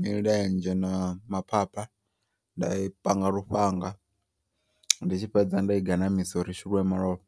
milenzhe na ma phapha nda i panga lufhanga. Ndi tshi fhedza nda i ganamisa uri i shuluwe malofha.